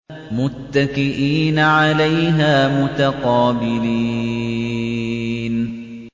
مُّتَّكِئِينَ عَلَيْهَا مُتَقَابِلِينَ